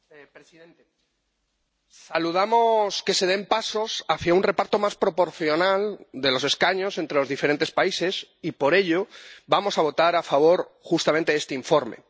Señor presidente, saludamos que se den pasos hacia un reparto más proporcional de los escaños entre los diferentes países y, por ello, vamos a votar a favor justamente de este informe.